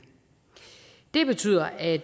det betyder at